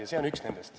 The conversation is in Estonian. Ja see on üks nendest.